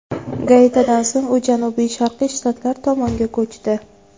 Gaitidan so‘ng u janubi-sharqiy shtatlar tomonga ko‘chdi.